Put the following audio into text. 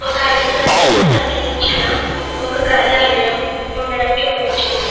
వక అడవు ప్రాంతానికి సంబంధించిన ఒక కార్యాలయము ఉండటము చూడవచ్చును.